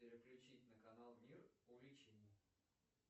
переключить на канал мир увлечений